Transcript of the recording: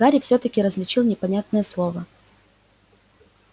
гарри всё-таки различил непонятное слово